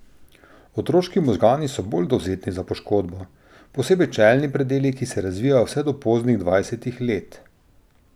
Otroški možgani so bolj dovzetni za poškodbo, posebej čelni predeli, ki se razvijajo vse do poznih dvajsetih let.